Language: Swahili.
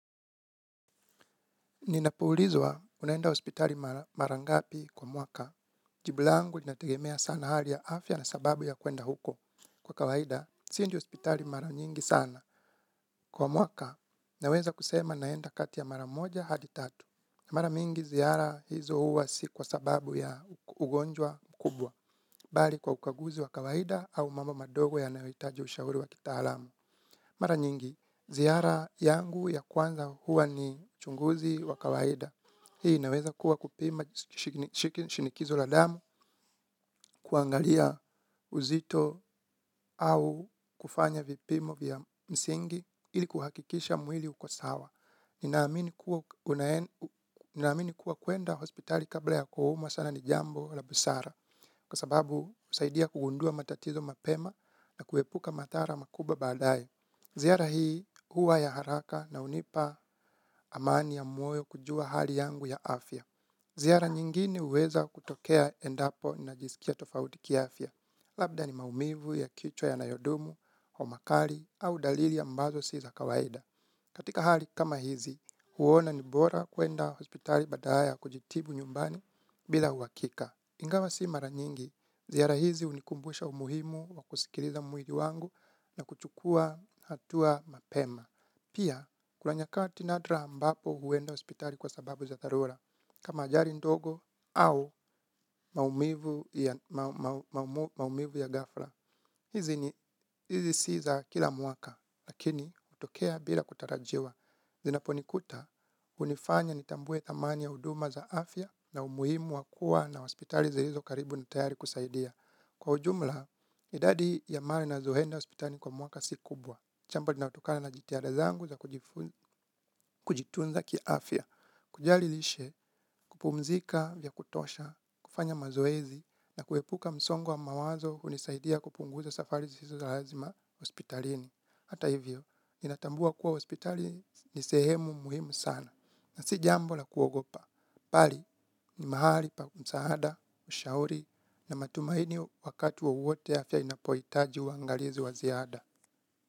Ninapo ulizwa unaenda hospitali mara ngapi kwa mwaka. Jibu langu linategemea sana hali ya afya na sababu ya kuenda huko. Kwa kawaida siendi hospitali mara nyingi sana. Kwa mwaka naweza kusema naenda kati ya mara moja hadi tatu. Mara mingi ziara hizo huwa si kwa sababu ya ugonjwa mkubwa bali kwa ukaguzi wa kawaida au mambo madogo yanayo hitaji ushauri wa kitaalamu. Mara nyingi, ziara yangu ya kwanza huwa ni chunguzi wa kawaida. Hii inaweza kuwa kupima shinikizo la damu kuangalia uzito au kufanya vipimo vya msingi ili kuhakikisha mwili uko sawa. Nina amini kuwa kuenda hospitali kabla ya kuumwa sana ni jambo la busara. Kwa sababu husaidia kugundua matatizo mapema na kuepuka madhara makubwa baadaye Ziara hii huwa ya haraka na hunipa amani ya moyo kujua hali yangu ya afya Ziara nyingine huweza kutokea endapo najisikia tofauti kiafya Labda ni maumivu ya kichwa yanayodumu homa kali au dalili ambazo si za kawaida Katika hali kama hizi huona ni bora kuenda hospitali badala ya kujitibu nyumbani bila uhakika. Ingawa si mara nyingi ziara hizi hunikumbusha umuhimu wa kusikiliza mwili wangu na kuchukua hatua mapema. Pia kuna nyakati nadra ambapo huenda hospitali kwasababu za dharura kama ajali ndogo au maumivu ya ghafla. Hizi ni hizi sii za kila mwakah lakini utokea bila kutarajiwa. Zinaponikuta hunifanya nitambue thamani ya huduma za afya na umuhimu wa kuwa na hospitali zilizo karibu na tayari kusaidia. Kwa ujumla idadi ya mara ninazoenda hospitali kwa mwaka si kubwa. Jambo linalotokana na jitihada zangu za kujitunza kiafya. Kujali lishe kupumzika vya kutosha kufanya mazoezi na kuepuka msongo wa mawazo hunisaidia kupunguza safari zisizo za lazima hospitalini. Hata hivyo ninatambua kuwa hospitali ni sehemu muhimu sana. Na si jambo la kuogopa. Bali ni mahali pa msaada ushauri na matumaini wakati wowote afya inapohitaji uangalizi wa ziada.